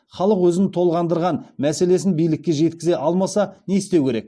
халық өзін толғандырған мәселесін билікке жеткізе алмаса не істеу керек